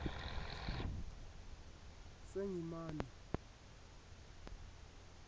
asengimane